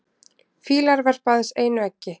Fýlar verpa aðeins einu eggi.